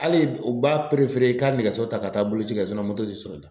Hali u b'a i k'a nɛgɛso ta ka taa boloci kɛ tɛ sɔrɔ